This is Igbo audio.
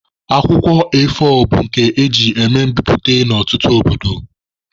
Akwụkwọ A4 bụ nke eji eme mbiputa na ọtụtụ obodo.